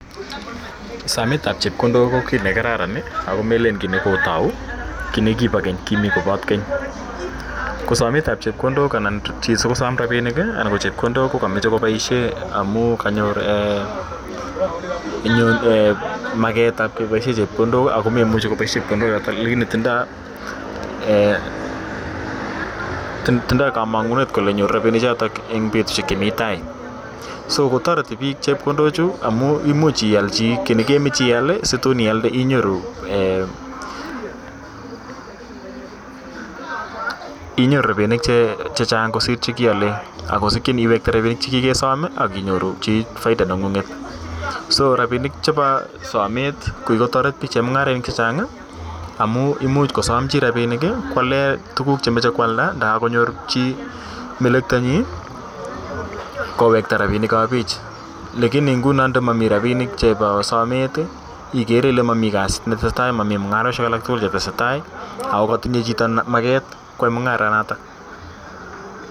Sametap chepkondok ko ki ne kararan ako melen ni ne kotau. Ki nepa keny, ki nepat keny. Ko samet ap chepkondok anan chi si kosam rapinik anan ko chepkondok ko ka muchi komeche kopaishe amu kanyor maket ap kepaishe chepkondok ako memuchi kopaishe chepkondochotok lakikinintindai kamang'unet kole nyoru rapinichotok eng' petushek chemi tai. So kotareti piik chepkondochu amu imuch ial chi ki ne kemache ial si tun ialde inyoru rapinik che chang' kosir che kiiale, ako sikchin iwekte rapinik che kikesam ak inyoru chi faida neng'ung'et. So rapinik chepo samet ko kikotaret piik, chemung'arainik che chang' amu imuch kosam chi rapinik ko ale tuguk che mache koalda anda kakonyor chi melekta nyi kowekta rapinik ap pich. Lakini nguno nda mami rapinik chepo samet ikere nguno ile mamj kasit ne tese tai, mami mung'aroshek alak tugul che tese tai ako katinye chito maket koyai mung'aranatak.